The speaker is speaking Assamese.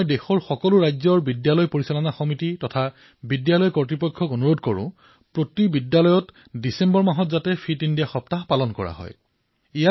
মই দেশৰ সকলো ৰাজ্যৰ বিদ্যালয় পৰিষদ তথা বিদ্যালয়ৰ কৰ্তৃপক্ষক আহ্বান জনাইছো যে প্ৰতিখন বিদ্যালয়ত ডিচেম্বৰ মাহত ফিট ইণ্ডিয়া সপ্তাহ পালন কৰা হওক